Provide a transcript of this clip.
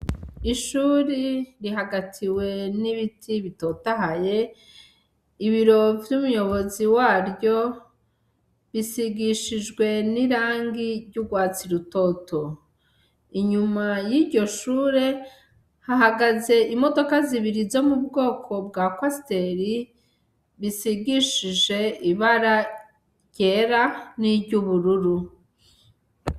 Ishure rihagatiwe nibiti bitotahaye ibiro vyumuyobozi waryo bisigishijwe nirangi ryurwatsi rutoto inyuma yiryo shure hahagaze imodoka zibiri zo mbwoko bwa kwasiteri bisigishije ibara ryera niryubururu.